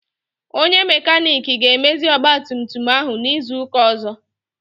Onye makanik ga-emezi ọgbatumtum ahụ n'izu ụka ọzọ.